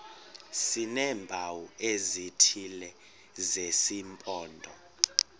sineempawu ezithile zesimpondo